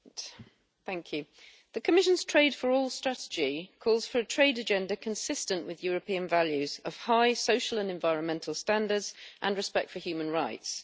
Mr President, the Commission's Trade for All strategy calls for a trade agenda consistent with European values of high social and environmental standards and respect for human rights.